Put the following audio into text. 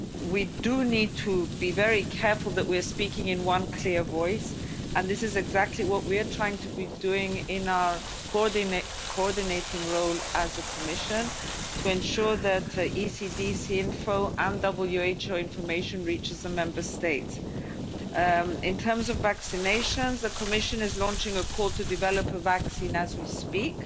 We do need to be very careful that we are speaking with one clear voice, and this is exactly what we are trying to do in our coordinating role as a Commission, to ensure that ECDC info and WHO information reaches the Member States. In terms of vaccinations, the Commission is launching a call to develop a vaccine as we